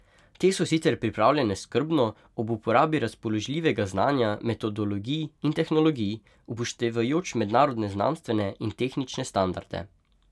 Te so sicer pripravljene skrbno, ob uporabi razpoložljivega znanja, metodologij in tehnologij, upoštevajoč mednarodne znanstvene in tehnične standarde.